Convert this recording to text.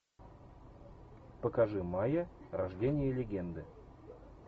покажи майя рождение легенды